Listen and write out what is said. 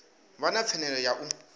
vha na pfanelo ya u